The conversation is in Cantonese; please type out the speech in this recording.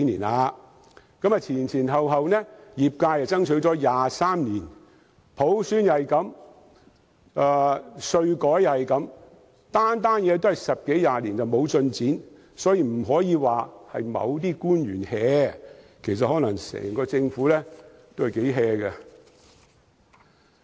業界前前後後已爭取了23年，普選如是，稅改也如是，政府做每件事都是10多年毫無進展，所以我們不能單說某些官員""，其實可能整個政府也很""。